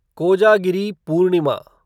Kojagiri Purnima